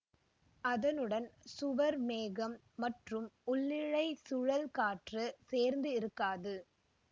அதனுடன் சுவர்மேகம் மற்றும் உள்ளிழை சுழல் காற்று சேர்ந்து இருக்காது